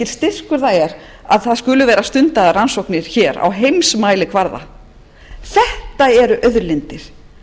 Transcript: styrkur það er að það skuli vera stundaðar rannsóknir hér á heimsmælikvarða þetta eru auðlindir